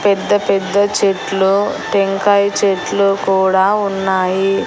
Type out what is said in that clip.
పెద్ద పెద్ద చెట్లు టెంకాయ చెట్లు కూడా ఉన్నాయి.